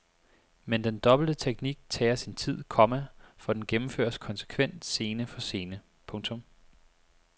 Men den dobbelte teknik tager sin tid, komma for den gennemføres konsekvent scene for scene. punktum